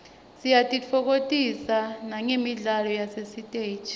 siyatitfokotisa nagemidlalo yasesiteji